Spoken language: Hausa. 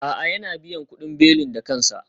A'a, yana biyan kudin belin da kansa